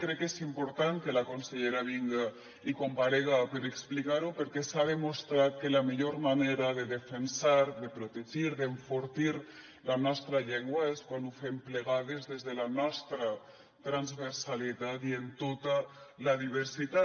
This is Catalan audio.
crec que és important que la consellera vinga i comparega per explicar ho perquè s’ha demostrat que la millor manera de defensar de protegir d’enfortir la nostra llengua és quan ho fem plegades des de la nostra transversalitat i en tota la diversitat